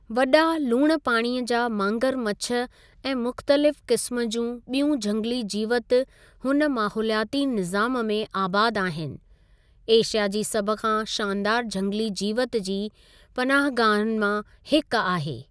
वॾा लूणु पाणी जा मांगरमछु ऐं मुख़्तलिफ़ क़िस्मु जियूं ॿियूं झंगली जीवति हुन माहौलियाती निज़ामु में आबाद आहिनि, एशिया जी सभ खां शानदारु झंगली जीवति जी पनाहगाहनि मां हिकु आहे।